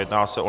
Jedná se o